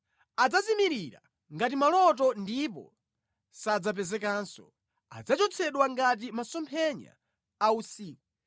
Adzazimirira ngati maloto ndipo sadzapezekanso, adzachotsedwa ngati masomphenya a usiku.